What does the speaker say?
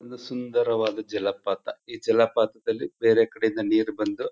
ಒಂದು ಸುಂದರವಾದ ಜಲಪಾತ ಈ ಜಲಪಾತದಲ್ಲಿ ಬೇರೆಕಡೆ ಇಂದ ನೀರ್ ಬಂದು--